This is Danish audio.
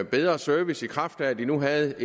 bedre service i kraft af at de nu havde